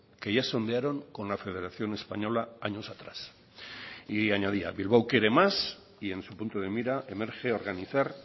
que ya sondearon con la federación española años atrás y añadía bilbao quiere más y en su punto de mira emerge organizar